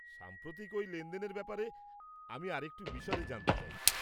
সাম্প্রতিক ওই লেনদেনের ব্যাপারে আমি আরেকটু বিশদে জানতে চাই।